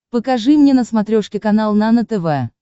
покажи мне на смотрешке канал нано тв